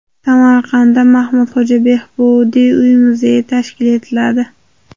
Samarqandda Mahmudxo‘ja Behbudiy uy-muzeyi tashkil etiladi.